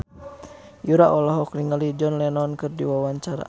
Yura olohok ningali John Lennon keur diwawancara